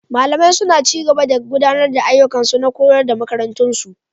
Malamai suna ci gaba da gudanar da ayyukansu na koyarwa a makarantun su.